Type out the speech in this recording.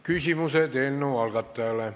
Küsimused eelnõu algatajale.